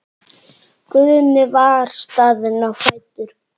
Guðni var staðinn á fætur.